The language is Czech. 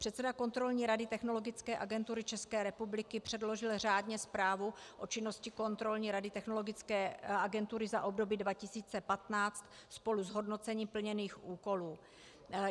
Předseda Kontrolní rady Technologické agentury České republiky předložil řádně zprávu o činnosti Kontrolní rady Technologické agentury za období 2015 spolu s hodnocením plněných úkolů.